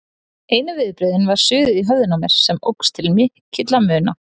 Einu viðbrögðin var suðið í höfðinu á mér, sem óx til mikilla muna.